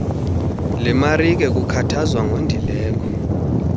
lemarike lukhathaza ngondileko